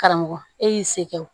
Karamɔgɔ e y'i se kɛ o